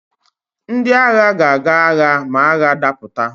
Ndị agha ga-aga agha ma agha dapụta.